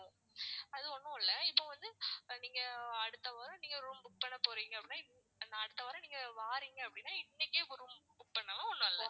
அது ஒண்ணும் இல்ல இப்ப வந்து நீங்க அடுத்த வாரம் நீங்க room book பண்ணப்போறீங்க அப்படின்னா அடுத்த வாரம் நீங்க வாரீங்க அப்படின்னா இன்னைக்கே room book பண்ணாலும் நல்லது